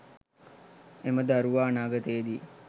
එම දරුවා අනාගතයේදී